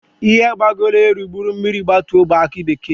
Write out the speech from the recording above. Ihe gbagoro elu buru mmiri gbatuo bụ aki bekee.